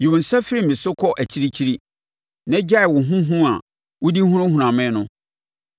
Yi wo nsa firi me so kɔ akyirikyiri, na gyae wo ho hu a wode hunahuna me no.